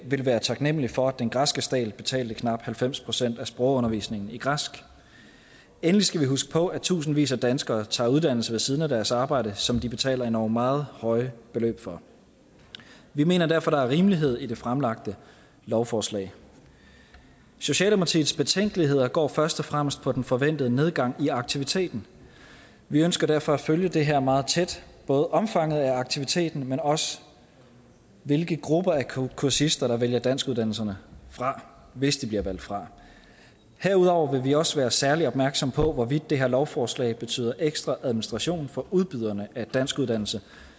ville være taknemmelige for at den græske stat betalte knap halvfems procent af sprogundervisningen i græsk endelig skal vi huske på at tusindvis af danskere tager uddannelse ved siden af deres arbejde som de betaler endog meget høje beløb for vi mener derfor der er rimelighed i det fremlagte lovforslag socialdemokratiets betænkeligheder går først og fremmest på den forventede nedgang i aktiviteten vi ønsker derfor at følge det her meget tæt både omfanget af aktiviteten men også hvilke grupper af kursister der vælger danskuddannelserne fra hvis de bliver valgt fra herudover vil vi også være særlig opmærksomme på hvorvidt det her lovforslag betyder ekstra administration for udbyderne af danskuddannelse